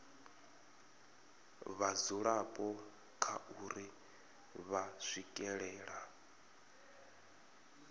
vhadzulapo kha uri vha swikelela